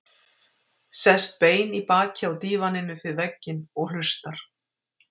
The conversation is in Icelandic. Sest bein í baki á dívaninn upp við vegginn og hlustar.